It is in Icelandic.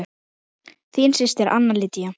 Þín systir Anna Lydía.